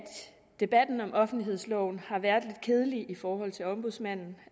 debatten om offentlighedsloven har været lidt kedelig i forhold til ombudsmanden